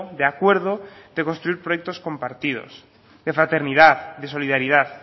de acuerdo de construir proyectos compartidos de fraternidad de solidaridad